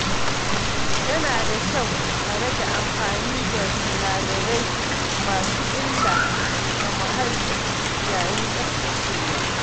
Yana da kyau a rage amfani da sinadarai masu illa ga muhalli yayin tsaftacewa.